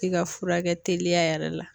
E ka furakɛ teliya yɛrɛ la